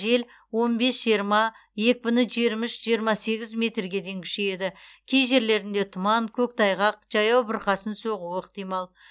жел бес жиырма екпіні жиырма үш жиырма сегіз метрге дейін күшейеді кей жерлерінде тұман көктайғақ жаяу бұрқасын соғуы ықтимал